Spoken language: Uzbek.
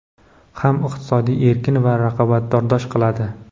ham iqtisodiy erkin va raqobatbardosh qiladi.